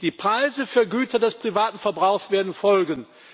Die Preise für Güter des privaten Verbrauchs werden folgen.